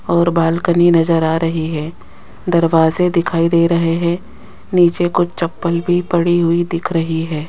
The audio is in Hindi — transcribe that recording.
और बालकनी नजर आ रही है दरवाजे दिखाई दे रहे हैं नीचे को चप्पल भी पड़ी हुई दिख रही है।